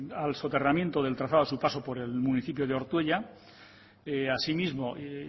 al soterramiento del trazado a su paso por el municipio de ortuella asimismo